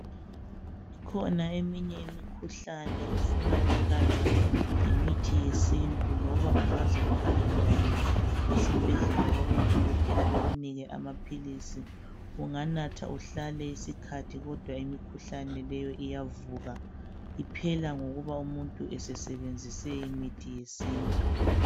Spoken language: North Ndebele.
kukhona eminye imikhuhlane efuna ukulatshwa ngemithi yesintu loba ungaze uhambe njani esibhedlela kubo dokotela bekunike amaphilisi unganatha uhlale isikhathi kodwa imikhuhlane leyo iyavuka iphela ngokuba umuntu esesebenzise imithi yesintu